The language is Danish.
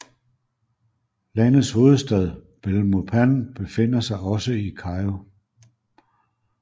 Landets hovedstad Belmopan befinder sig også i Cayo